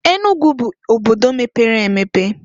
Enugu bu obodo mepere emepe.